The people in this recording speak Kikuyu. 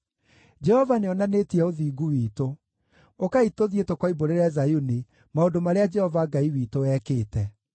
“ ‘Jehova nĩonanĩtie ũthingu witũ; ũkai tũthiĩ tũkoimbũrĩre Zayuni maũndũ marĩa Jehova Ngai witũ ekĩte.’